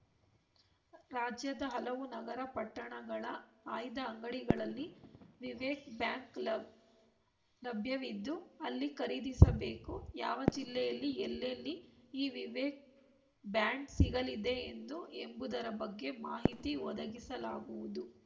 ರಾಜ್ಯದ ಹಲವು ನಗರಪಟ್ಟಣಗಳ ಆಯ್ದ ಅಂಗಡಿಗಳಲ್ಲಿ ವಿವೇಕ್‌ ಬ್ಯಾಂಕ್‌ ಲಭ್ಯವಿದ್ದು ಅಲ್ಲಿ ಖರೀದಿಸಬೇಕು ಯಾವ ಜಿಲ್ಲೆಯಲ್ಲಿ ಎಲ್ಲೆಲ್ಲಿ ಈ ವಿವೇಕ್‌ ಬ್ಯಾಂಡ್‌ ಸಿಗಲಿದೆ ಎಂದು ಎಂಬುದರ ಬಗ್ಗೆ ಮಾಹಿತಿ ಒದಗಿಸಲಾಗುವುದು